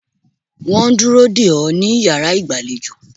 Wọ́n ń dúró dè ó ní iyàrá ìgbàlejò